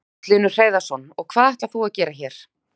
Magnús Hlynur Hreiðarsson: Og hvað ætlar þú að gera hér?